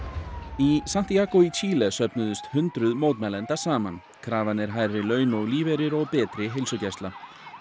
í Santiago í Chile söfnuðust hundruð mótmælenda saman krafan er hærri laun og lífeyrir og betri heilsugæsla